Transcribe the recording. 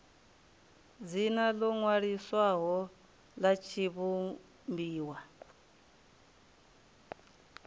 dzina ḽo ṅwaliswaho ḽa tshivhumbiwa